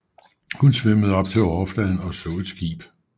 Hun svømmede op til overfladen og så et skib